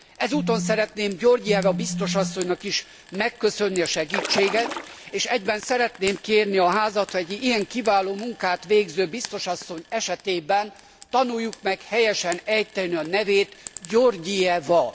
Ezúton szeretném Georgieva biztos asszonynak is megköszönni a segítséget, és egyben szeretném kérni a Házat, hogy ilyen kiváló munkát végző biztos asszony esetében tanuljuk meg helyesen ejteni a nevét Georgieva.